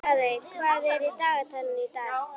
Daðey, hvað er í dagatalinu í dag?